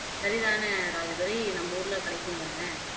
சரிதான ராஜதுரை நம்ம ஊர்ல கிடைக்கும் தானே